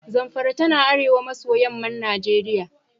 Zamfara tana arewa maso yamman Najeriya.